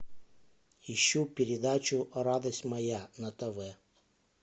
ищу передачу радость моя на тв